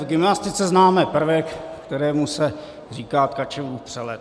V gymnastice známe prvek, kterému se říká Tkačevův přelet.